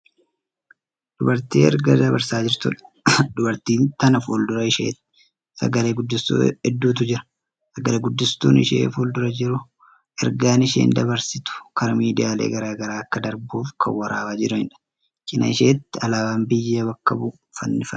Dubartii ergaa dabarsaa jirtuudha. Dubartii tana fuuldura isheetti sagale-guddistuu hedduutu jira. Sagale-guddistuun ishee fuuldura jiru ergaan isheen dabarsitu karaa miidiyaalee garagaraa akka darbuuf Kan waraabaa jiraniidha. Cinaa isheetti alaabaan biyya bakka bu'u fannifamee jira.